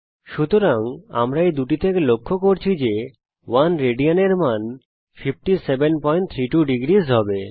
সুতরাং আমরা এই দুটি থেকে লক্ষ্য করছি যে 1 রাদ এর মান 5732 ডিগ্রী হবে